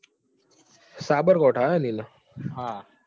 સાબરકાંઠા હે એને હા એવું છે એમ ને.